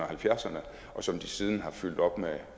halvfjerdserne og som de siden har fyldt op med